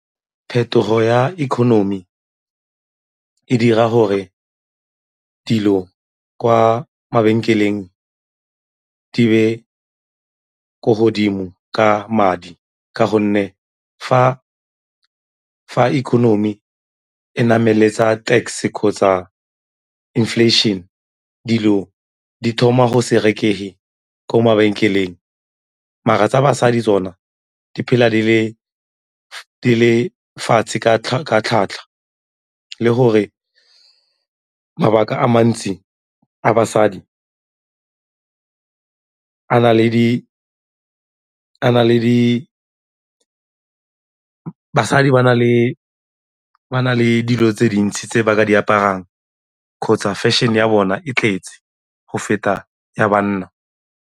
Phetogo ya economy ka e dira gore dilo kwa mabenkeleng di be ko godimo ka madi ka gonne fa economy e nametsa tax kgotsa inflation dilo di thoma go se rekege ko mabenkeleng mara tsa basadi tsona di phela di le fatshe ka tlhwatlhwa le gore mabaka a mantsi a basadi bsadi ba na le dilo tse dintsi tse ba ka di aparang kgotsa fešene ya bona e tletse go feta ya banna.